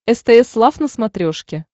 стс лав на смотрешке